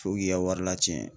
Fo k'i ka wari la cɛn